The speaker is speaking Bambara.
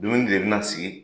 Dumuni de bɛna sigi